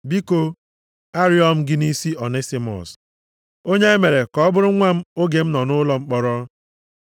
Biko, arịọ m gị nʼisi Onisimọs, onye e mere ka ọ bụrụ nwa m oge m nọ nʼụlọ mkpọrọ.